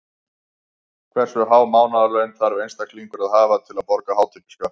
Hversu há mánaðarlaun þarf einstaklingur að hafa til að borga hátekjuskatt?